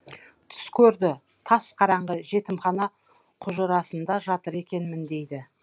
түс көрді тас қараңғы жетімхана құжырасында жатыр екенмін дейді